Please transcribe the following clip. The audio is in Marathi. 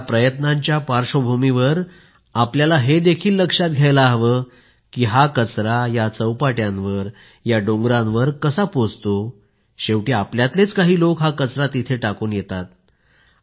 या प्रयत्नांच्या पार्श्वभूमीवर आपल्याला हे देखील लक्षात घ्यायला हवं की हा कचरा या चौपाट्यांवर या डोंगरांवर कसा पोहचतो शेवटी आपल्यातलेच काही लोक हा कचरा तिथे टाकून येतात